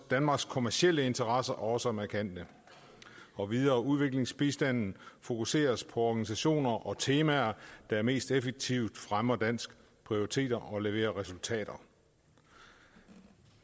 danmarks kommercielle interesser også er markante og videre udviklingsbistanden fokuseres på organisationer og temaer der mest effektivt fremmer danske prioriteter og leverer resultater